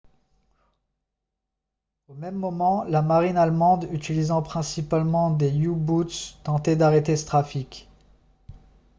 au même moment la marine allemande utilisant principalement des u-boots tentait d'arrêter ce trafic